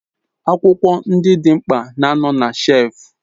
Akwukwo ndi di mkpa na ano na shef